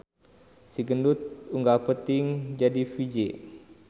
Si gendut unggal peuting jadi vj